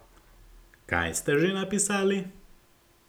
Kaj ste že napisali?